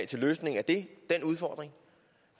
til løsning af den udfordring